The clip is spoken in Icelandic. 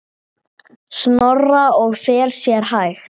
Snorra og fer sér hægt.